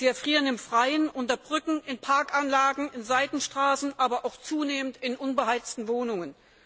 Sie erfrieren im Freien, unter Brücken, in Parkanlagen, in Seitenstraßen, aber auch zunehmend in unbeheizten Wohnungen.